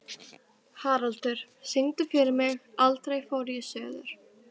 Haraldur, syngdu fyrir mig „Aldrei fór ég suður“.